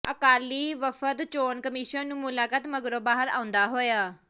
ਅਕਾਲੀ ਵਫ਼ਦ ਚੋਣ ਕਮਿਸ਼ਨ ਨੂੰ ਮੁਲਾਕਾਤ ਮਗਰੋਂ ਬਾਹਰ ਆਉਂਦਾ ਹੋਇਆ